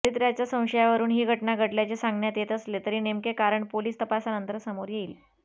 चारित्र्याच्या संशयावरून ही घटना घडल्याचे सांगण्यात येत असले तरी नेमके कारण पोलीस तपासानंतर समोर येईल